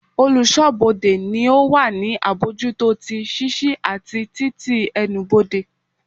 Oluso-bode ni o wa ni abojuto ti ṣiṣi ati tití ẹnubodè.